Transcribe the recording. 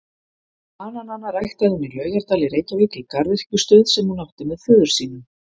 Bananana ræktaði hún í Laugardal í Reykjavík í garðyrkjustöð sem hún átti með föður sínum.